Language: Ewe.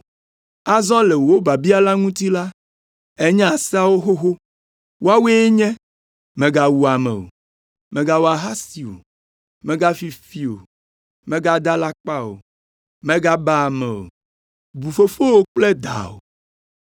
Azɔ le wò biabia la ŋuti la, ènya seawo xoxo. Woawoe nye: mègawu ame o, mègawɔ ahasi o, mègafi fi o, mègada alakpa o, mègaba ame o, bu fofowò kple dawò.”